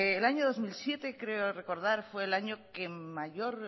el año dos mil siete creo recordar fue el año que mayor